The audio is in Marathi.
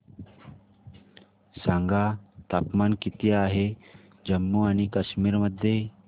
सांगा तापमान किती आहे जम्मू आणि कश्मीर मध्ये